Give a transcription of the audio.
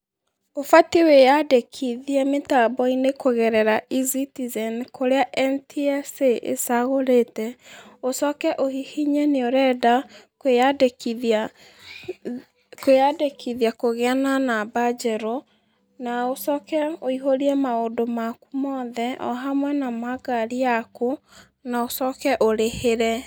Ũbatiĩ wĩyandĩkithie mĩtambo-ĩni kugerera eCitizen kũrĩa NTSA ĩcagũrĩte, ũcoke ũhihinye nĩũrenda kwĩyandĩkĩthĩa , kwĩyandĩkĩthĩa kũgĩa na namba njerũ na ũcoke wĩihũrie maũndũ makũ mothe, ohamwe na ma ngarĩ yakũ na ũcoke ũrĩhĩre.